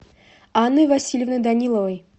анной васильевной даниловой